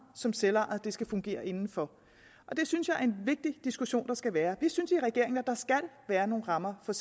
som selvejet skal fungere inden for og det synes jeg er en vigtig diskussion der skal være vi synes i regeringen at der skal være nogle rammer for